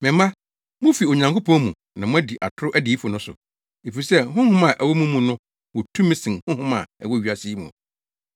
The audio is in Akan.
Me mma, mufi Onyankopɔn mu na moadi atoro adiyifo no so, efisɛ Honhom a ɛwɔ mo mu no wɔ tumi sen honhom a ɛwɔ wiase yi mu.